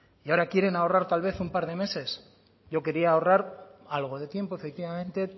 y ahora quieren ahorrar tal vez un par de meses yo quería ahorrar algo de tiempo efectivamente